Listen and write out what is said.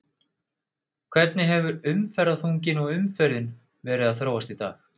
Hvernig hefur umferðarþunginn og umferðin verið að þróast í dag?